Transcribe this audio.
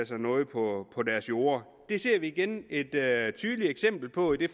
sig noget på på deres jorde det ser vi igen et tydeligt eksempel på i det